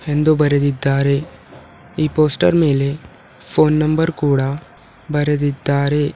ಹಿಂದೂ ಬರದಿದ್ದಾರೆ ಆ ಪೋಸ್ಟರ್ ಮೇಲೆ ಫೋನ್ ನಂಬರ್ ಕೂಡ ಬರೆದಿದ್ದಾರೆ.